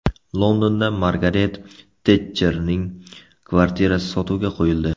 Londonda Margaret Tetcherning kvartirasi sotuvga qo‘yildi.